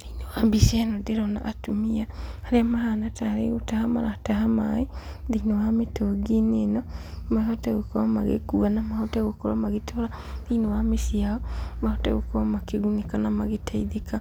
Thĩinĩ wa mbica ĩno ndĩrona atumia, arĩa mahana tarĩ gũtaha marataha maĩ thĩinĩ wa mĩtũngi-inĩ ĩno, mahote gũkorwo magĩkua na mahote gũkorwo magĩtwara thĩinĩ wa mĩciĩ yao, mahote gũkorwo makĩgunĩka na magĩteithĩka.